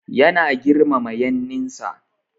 Yana girmama yanninsa.